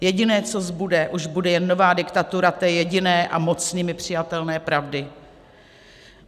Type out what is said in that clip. Jediné, co zbude, bude už jen nová diktatura té jediné a mocnými přijatelné pravdy.